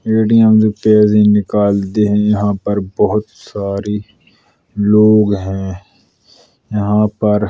ए.टी.एम से पैसे निकालते हैं। यहाँ पर बहोत सारे लोग हैं। यहाँ पर --